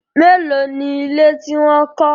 Mélòó ni ilé tí wọ́n kọ́?